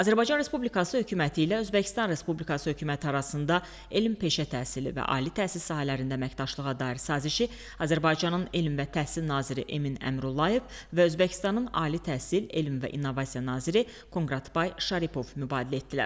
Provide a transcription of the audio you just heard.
Azərbaycan Respublikası hökuməti ilə Özbəkistan Respublikası hökuməti arasında elm-peşə təhsili və ali təhsil sahələrində əməkdaşlığa dair sazişi Azərbaycanın Elm və Təhsil naziri Emin Əmrullayev və Özbəkistanın Ali Təhsil, Elm və İnnovasiya naziri Konqratbay Şaripov mübadilə etdilər.